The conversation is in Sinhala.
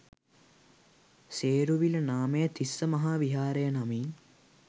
සේරුවිල නාමය තිස්ස මහා විහාරය නමින්